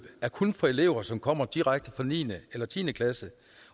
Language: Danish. kun er for elever som kommer direkte fra niende eller tiende klasse